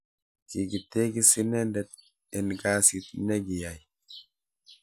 kikitekis inendet en kasit nekiyai